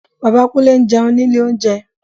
Bàbá Kúnlé ń jẹun ní ilé oúnjẹ